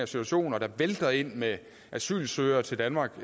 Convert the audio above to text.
situation og det vælter ind med asylsøgere til danmark